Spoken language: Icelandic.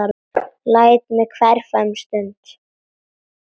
Læt mig hverfa um stund.